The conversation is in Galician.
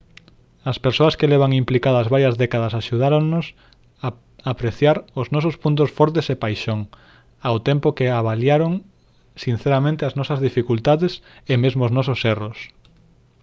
as persoas que levan implicadas varias décadas axudáronnos a apreciar os nosos puntos fortes e paixón ao tempo que avaliaron sinceramente as nosas dificultades e mesmo os nosos erros